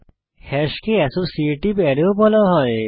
হ্যাশকে associative array ও বলা হয়